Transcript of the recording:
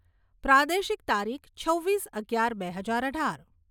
પ્રાદેશિક તારીખ છવ્વીસ અગિયાર બે હજાર અઢાર.